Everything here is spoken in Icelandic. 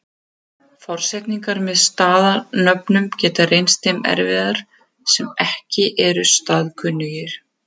Forsetningar með staðanöfnum geta reynst þeim erfiðar sem ekki eru staðkunnugir.